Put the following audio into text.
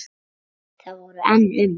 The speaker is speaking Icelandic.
Það voru enn um